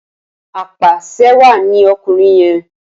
Apàṣẹwàá ni ọkùnrin yẹn.